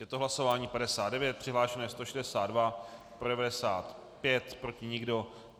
Je to hlasování 59, přihlášeno je 162, pro 95, proti nikdo.